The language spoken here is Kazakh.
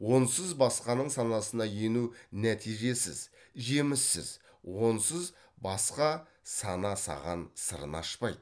онсыз басқаның санасына ену нәтижесіз жеміссіз онсыз басқа сана саған сырын ашпайды